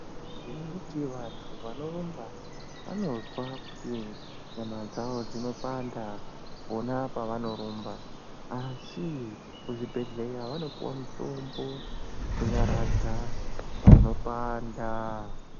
Ngekuti vantu vanorumba vanozwa kuti nyama dzavo dzinopanda pona pavanorumba , asi kuzvibhedhlera vanopiwa mutombo wekunyaradza panopanda.